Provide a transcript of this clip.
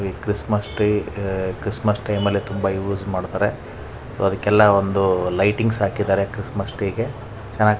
Christmas tree Christmas time ಅಲ್ಲಿ ತುಂಬಾ use ಮಾಡತ್ತರೆ ಸೊ ಅದಕೆಲ್ಲಾ ಒಂದು ಲೈಟಿಂಗ್ಸ್ ಹಾಕಿದ್ದಾರೆ.